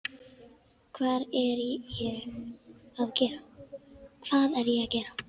Hvað er ég að gera?